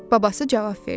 Babası cavab verdi: